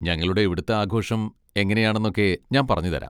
ഞങ്ങളുടെ ഇവിടുത്തെ ആഘോഷം എങ്ങനെയാണെന്നൊക്കെ ഞാൻ പറഞ്ഞുതരാം.